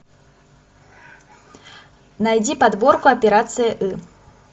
найди подборку операция ы